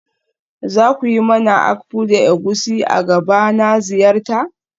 Za ku yi mani akpu da egusi a gaba na ziyarta?